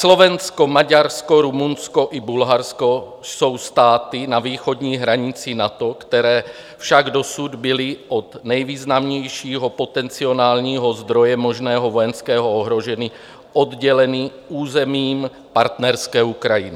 Slovensko, Maďarsko, Rumunsko i Bulharsko jsou státy na východní hranici NATO, které však dosud byly od nejvýznamnějšího potenciálního zdroje možného vojenského ohrožení odděleny územím partnerské Ukrajiny.